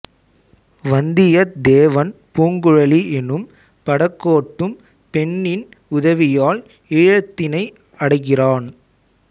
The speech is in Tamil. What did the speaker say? வந்தியத் தேவன் பூங்குழலி எனும் படகோட்டும் பெண்ணின் உதவியால் ஈழத்தினை அடைகிறான்